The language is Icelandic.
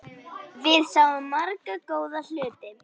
Við sáum marga góða hluti.